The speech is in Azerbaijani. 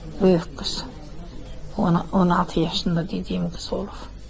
Böyük qız, 16 yaşında dediyim qız olub.